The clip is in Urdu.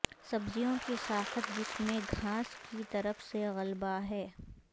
سبزیوں کی ساخت جس میں گھاس کی طرف سے غلبہ ہے